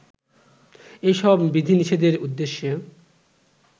এই সব বিধিনিষেধের উদ্দেশ্য